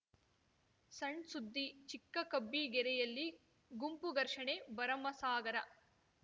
ಸಣ್‌ಸುದ್ದಿ ಚಿಕ್ಕ ಕಬ್ಬಿಗೆರೆಯಲ್ಲಿ ಗುಂಪು ಘರ್ಷಣೆ ಭರಮಸಾಗರ